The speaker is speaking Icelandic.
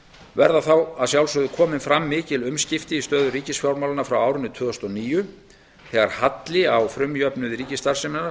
verða þá að sjálfsögðu komin fram mikil umskipti í stöðu ríkisfjármálanna frá árinu tvö þúsund og níu þegar halli á frumjöfnuði